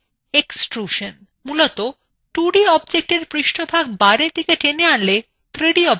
মূলতঃ পৃষ্টভাগ বাইরের দিকে টেনে এনে 3d object তৈরী করা হয়